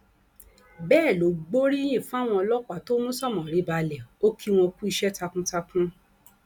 bẹẹ ló gbóríyìn fáwọn ọlọpàá tó mú sómórì balẹ o kí wọn kú iṣẹ takuntakun